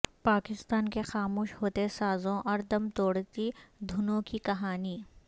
پاکستان کے خاموش ہوتے سازوں اور دم توڑتی دھنوں کی کہانی